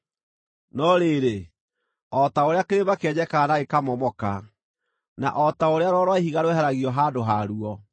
“No rĩrĩ, o ta ũrĩa kĩrĩma kĩenjekaga na gĩkamomoka, na o ta ũrĩa rwaro rwa ihiga rũeheragio handũ ha ruo,